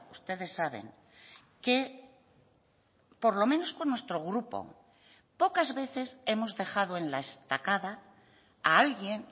ustedes saben que por lo menos con nuestro grupo pocas veces hemos dejado en la estacada a alguien